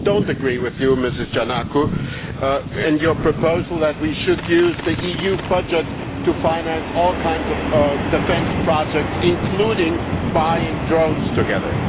I do not agree with you, Ms Giannakou, on your proposal that we should use the EU budget to finance all kinds of defence projects, including buying drones together.